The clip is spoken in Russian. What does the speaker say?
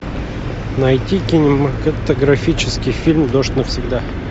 найти кинематографический фильм дождь навсегда